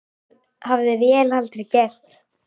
Það hefði vél aldrei gert.